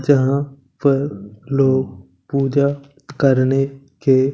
यहां पर लोग पूजा करने के--